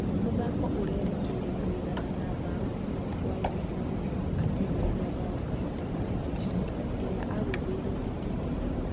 Mũthako ũrĩrekĩire kũĩganana bao ĩmwe kwĩ ĩmwe nũ nyongo akĩingĩria bao kahinda kamũisho, ĩrĩa agũtheĩrwo nĩ timothĩo.